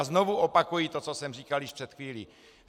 A znovu opakuji to, co jsem říkal již před chvílí.